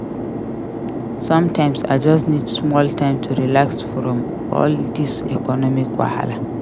Sometimes I just need small time to relax from all dis economic wahala.